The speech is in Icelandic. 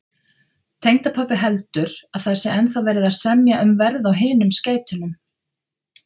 Tengdapabbi heldur, að það sé ennþá verið að semja um verð á hinum skeytunum